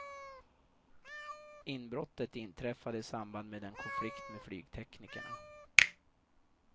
Inbrottet inträffade i samband med en konflikt med flygteknikerna.